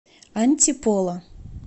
антиполо